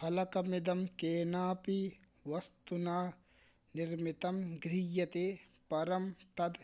फलकमिदं केनापि वस्तुना निर्मितं गृह्यते परं तद्